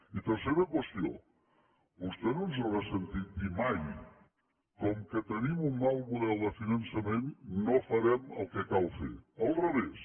i tercera qüestió vostè no ens haurà sentit dir mai com que tenim un mal model de finançament no farem el que cal fer al revés